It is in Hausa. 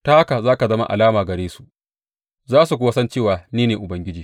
Ta haka za ka zama alama gare su, za su kuwa san cewa ni ne Ubangiji.